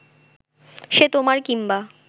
সে তোমার কিম্বা